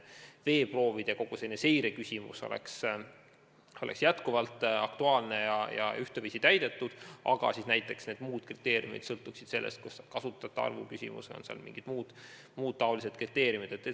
Veeproovid ja kogu muu seire oleks jätkuvalt aktuaalne, aga teatud kriteeriumid sõltuksid näiteks kasutajate arvust või mingitest muudest näitajatest.